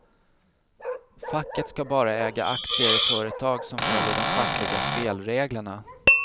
Facket ska bara äga aktier i företag som följer de fackliga spelreglerna.